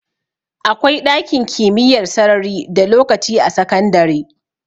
Akwai ɗakin kimiyyar sarari da lokaci a sakandare